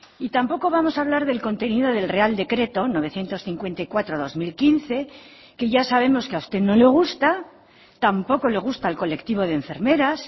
y tampoco vamos a hablar del contenido del real decreto novecientos cincuenta y cuatro barra dos mil quince que ya sabemos que a usted no le gusta tampoco le gusta el colectivo de enfermeras